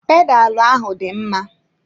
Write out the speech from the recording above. Pedalu ahụ dị mma.